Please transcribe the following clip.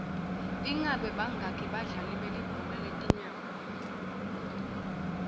ingabe bangaki badlali belibhola letinyawo